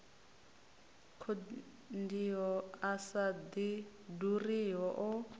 konḓiho a sa ḓuriho a